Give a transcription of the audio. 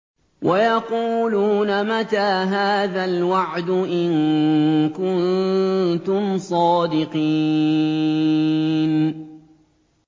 وَيَقُولُونَ مَتَىٰ هَٰذَا الْوَعْدُ إِن كُنتُمْ صَادِقِينَ